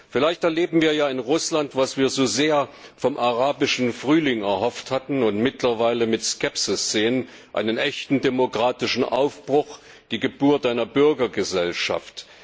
Vielleicht erleben wir ja in Russland, was wir so sehr vom Arabischen Frühling erhofft hatten und mittlerweile mit Skepsis sehen einen echten demokratischen Aufbruch, die Geburt einer Bürgergesellschaft.